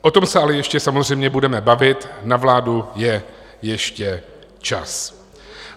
O tom se ale ještě samozřejmě budeme bavit, na vládu je ještě čas.